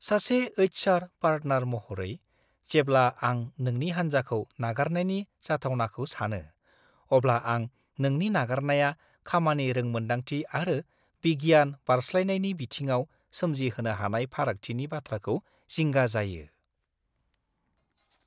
सासे HR. Partner महरै, जेब्ला आं नोंनि हान्जाखौ नागारनायनि जाथावनाखौ सानो, अब्ला आं नोंनि नागारनाया खामानि रोंमोनदांथि आरो गियान बारस्लायनायनि बिथिङाव सोमजिहोनो हानाय फारागथिनि बाथ्राखौ जिंगा जायो।